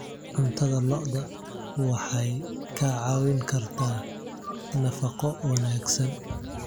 Cuntada lo'da waxay kaa caawin kartaa nafaqo wanaagsan.